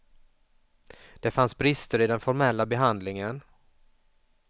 Det fanns brister i den formella behandlingen.